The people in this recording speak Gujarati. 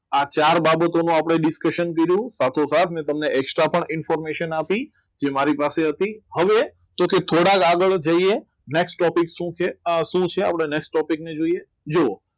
આ ચાર બાબતોનો આપણે discussion કર્યું સાથે સાત મેં તમને એક્સા પણ information આપી જે મારી પાસે હતી હવે કે થોડાક આગળ જઈએ next topic શું છે શું છે next topic ને જોઈએ જુઓ